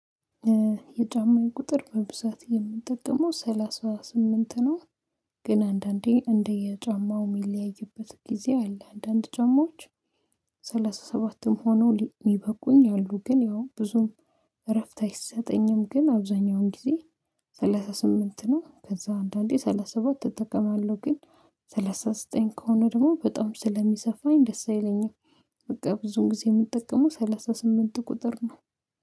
የጫማዬ ቁጥር በብዛት የምንጠቀመው ሰላሳ ስምንት ነው። ግን አንዳንዴ እንደየጫማው የሚለያይበት ጊዜ አለ አንዳንድ ጨማዎች ሰላሳ ሰባት ሰላሳ ሰባትም ሆነው የበቁኝ አሉ ግን ያው ብዙም እረፍት አይሰጠኝም ግን አብዛኛውን ጊዜ ሰላሳ ስምንት ነው ከዛ አንዳንዴ ሰላሳ ሰባት እጠቀማለሁ፤ ግን ሰላሳ ዘጠኝ ከሆነ ደግሞ በጣም ስለሚሰፋኝ ደስ አይለኝም። በቃ ብዙን ጊዜ የምጠቀመው ሰላሳ ስምንት ቁጥር ነው።